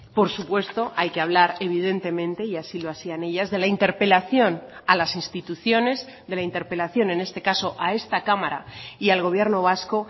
por supuesto hay que hablar evidentemente y así lo hacían ellas de la interpelación a las instituciones de la interpelación en este caso a esta cámara y al gobierno vasco